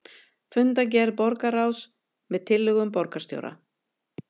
Fundargerð borgarráðs með tillögum borgarstjóra